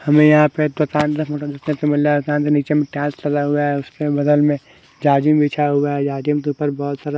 हमें यहाँ पे उसके बगल में बहुत सारा--